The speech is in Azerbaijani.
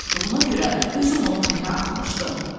qaymaq turşuduğuna görə özüm onu bayıra atmışdım.